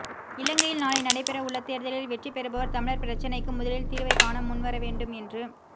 இலங்கையில் நாளை நடைபெறவுள்ள தேர்தலில் வெற்றி பெறுபவர் தமிழர் பிரச்சினைக்கு முதலில் தீர்வைக் காணமுன் வரவேண்டும் என்று